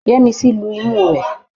Yẹ́misí lu imú rẹ.